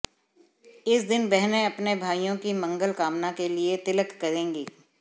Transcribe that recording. इस दिन बहनें अपने भाइयों की मंगल कामना के लिए तिलक करेंगी